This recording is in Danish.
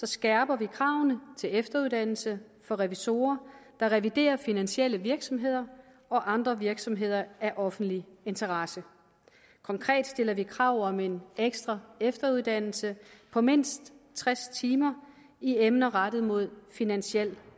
skærper vi kravene til efteruddannelse for revisorer der reviderer finansielle virksomheder og andre virksomheder af offentlig interesse konkret stiller vi krav om en ekstra efteruddannelse på mindst tres timer i emner rettet mod finansiel